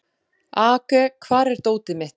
Aage, hvar er dótið mitt?